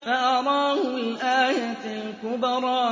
فَأَرَاهُ الْآيَةَ الْكُبْرَىٰ